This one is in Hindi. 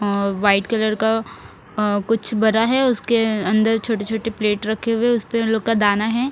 अ वाईट कलर का अ कुछ भरा है उसके अंदर अंदर छोटे छोटे प्लेट रखे हुए है उका दाना है।